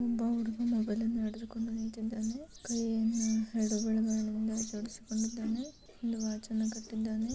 ಒಂದು ಹುಡುಗ ಮೊಬೈಲ್ ಅನ್ನು ಹಿಡಿದುಕೊಂಡು ನಿಂತಿದ್ದಾನೆ .ಕೈಯನ್ನು ಎರಡು ಬೆರಳುಗಳಿಂದ ಆಟಾಡಿಸಿ ಕೊಂಡಿದಾನೆ.ಒಂದು ವಾಚ್ ಅನ್ನು ಕಟ್ಟಿಕೊಂಡಿದ್ದಾನೆ.